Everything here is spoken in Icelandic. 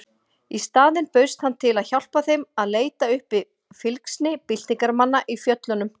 Í staðinn bauðst hann til að hjálpa þeim að leita uppi fylgsni byltingarmanna í fjöllunum.